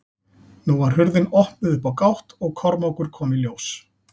Nú var hurðin opnuð upp á gátt og Kormákur kom í ljós.